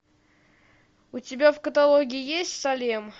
у тебя в каталоге есть салем